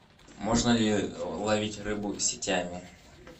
можно ли ловить рыбу сетями